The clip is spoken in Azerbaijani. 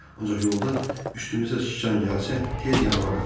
Ancaq yolda üstümüzə şican gəlsə, tez yanıma qaç.